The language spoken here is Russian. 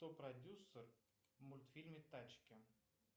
кто продюсер в мультфильме тачки